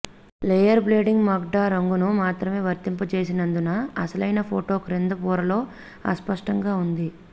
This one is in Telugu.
లేయర్ బ్లెండింగ్ మోడ్గా రంగును మాత్రమే వర్తింపజేసినందున అసలైన ఫోటో క్రింద పొరలో అస్పష్టంగా ఉంది